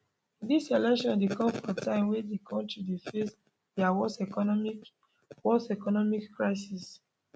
dis election dey come for time wen di kontri dey face dia worst economic worst economic crisis